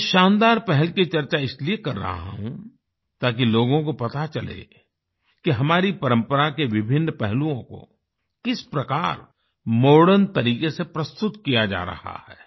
मैं इस शानदार पहल की चर्चा इसलिए कर रहा हूं ताकि लोगों को पता चले कि हमारी परंपरा के विभिन्न पहलुओं को किस प्रकार मॉडर्न तरीके से प्रस्तुत किया जा रहा है